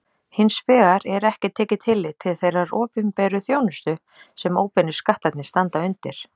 Hins vegar er ekki tekið tillit til þeirrar opinberu þjónustu sem óbeinu skattarnir standa undir.